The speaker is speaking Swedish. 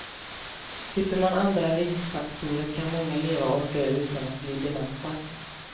Slipper man andra riskfaktorer kan många leva och dö utan att bli dementa.